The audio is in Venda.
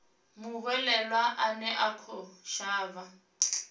muhwelelwa ane a khou shavha